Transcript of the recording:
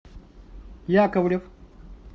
яковлев